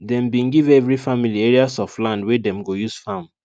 dem bin give every family areas of land wey dem go use farm